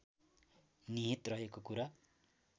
निहित रहेको कुरा